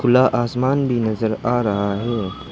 ला आसमान भी नजर आ रहा है।